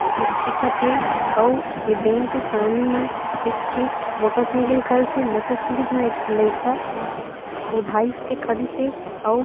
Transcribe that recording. जिसे दिखत हे अउ ए बैंक के सामने म एक ठी मोटरसाइकिल खड़ीसे मोटरसाइकिल में एक झी लड़का ओधाइस के खड़ीस हे अउ--